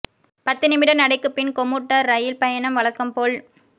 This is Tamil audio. பத்து நிமிட நடைக்குப் பின் கொமூட்டர் இரயில் பயணம் வழக்கம் போல்